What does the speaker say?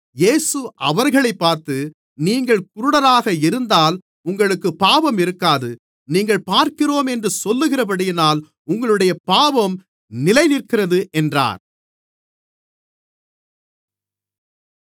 இயேசு அவர்களைப் பார்த்து நீங்கள் குருடராக இருந்தால் உங்களுக்குப் பாவம் இருக்காது நீங்கள் பார்க்கிறோம் என்று சொல்லுகிறபடியினால் உங்களுடைய பாவம் நிலைநிற்கிறது என்றார்